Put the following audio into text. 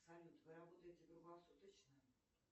салют вы работаете круглосуточно